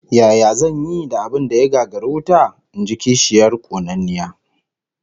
Yaya zan yi da abin da ya gagari wuta? In ji kishiyar konanniya